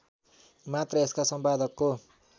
मात्र यसका सम्पादकको